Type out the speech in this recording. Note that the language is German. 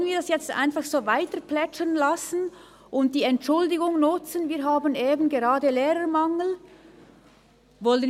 Wollen wir es jetzt einfach so weiterplätschern lassen und die Entschuldigung nutzen, dass wir eben gerade Lehrermangel haben?